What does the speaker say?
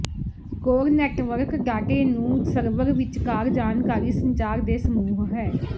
core network ਡਾਟੇ ਨੂੰ server ਵਿਚਕਾਰ ਜਾਣਕਾਰੀ ਸੰਚਾਰ ਦੇ ਸਮੂਹ ਹੈ